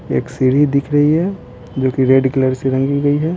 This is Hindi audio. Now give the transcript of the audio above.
एक सीढ़ी दिख रही है जो कि रेड कलर से रंगी गई है।